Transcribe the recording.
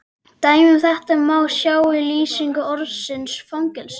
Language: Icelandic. Dæmi um þetta má sjá í lýsingu orðsins fangelsi